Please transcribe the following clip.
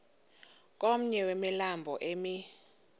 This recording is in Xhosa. komnye wemilambo emi